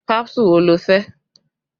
Kánsù wo lo fẹ́?